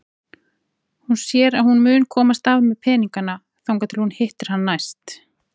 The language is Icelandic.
Hún sér að hún mun komast af með peningana þangað til hún hittir hann næst.